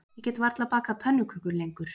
Ég get varla bakað pönnukökur lengur